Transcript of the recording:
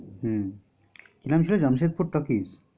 হম জামশের জামশেদপুর talkies